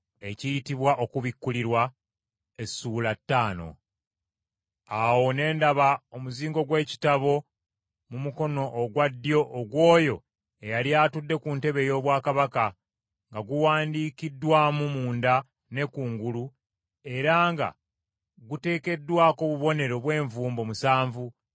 Awo ne ndaba omuzingo gw’ekitabo mu mukono ogwa ddyo ogw’Oyo eyali atudde ku ntebe ey’obwakabaka, nga guwandiikiddwamu munda ne kungulu era nga guteekeddwako obubonero bw’envumbo musanvu.